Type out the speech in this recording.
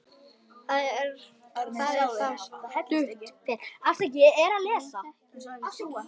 Það er það stutt ferð.